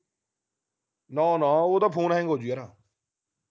ਨਾ ਨਾ ਉਹ ਤਾ ਫੋਨ hang ਹੋਜੂ ਯਾਰ